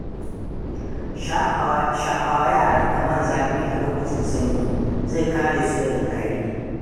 Shafawa yaranka man zafi a lokacin sanyi, zai kare su daga tari.